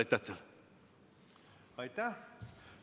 Aitäh!